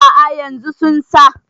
a' a yanzu sun sa